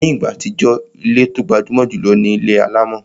Ní ìgbà àtijọ́, ilé tó gbajúmọ̀ jùlọ ni ilé alámọ̀